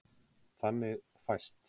Þannig fæst: